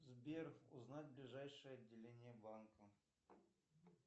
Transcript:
сбер узнать ближайшее отделение банка